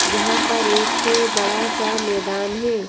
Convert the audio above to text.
जहां पर एक बड़ा सा मैदान है।